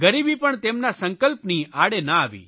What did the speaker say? ગરીબી પણ તેમના સંક્લપની આડે ના આવી